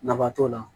Nafa t'o la